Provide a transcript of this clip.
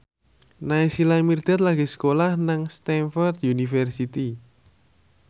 Naysila Mirdad lagi sekolah nang Stamford University